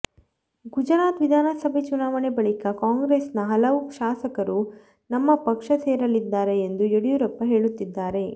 ಗುಜರಾತ್ ವಿಧಾನಸಭೆ ಚುನಾವಣೆ ಬಳಿಕ ಕಾಂಗ್ರೆಸ್ನ ಹಲವು ಶಾಸಕರು ನಮ್ಮ ಪಕ್ಷ ಸೇರಲಿದ್ದಾರೆ ಎಂದು ಯಡಿಯೂರಪ್ಪ ಹೇಳುತ್ತಿದ್ದಾರೆ